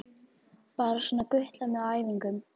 Bara svona gutlað með á æfingum.